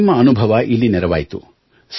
ನಿಮ್ಮ ಅನುಭವ ಇಲ್ಲಿ ನೆರವಾಯಿತು